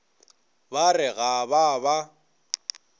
ba re ga ba ba